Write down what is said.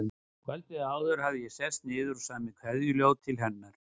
Kvöldið áður hafði ég sest niður og samið kveðjuljóð til hennar.